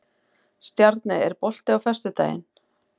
Stjarney, er bolti á föstudaginn?